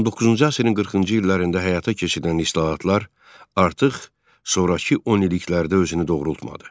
19-cu əsrin 40-cı illərində həyata keçirilən islahatlar artıq sonrakı 10 illiklərdə özünü doğrultmadı.